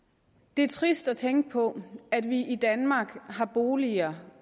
det er trist at tænke på at vi i danmark har boliger